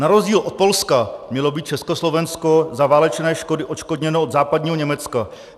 Na rozdíl od Polska mělo být Československo za válečné škody odškodněno od západního Německa.